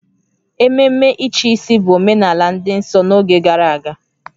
Ememe ịchịisi bụ omenala dị nsọ n'oge gara aga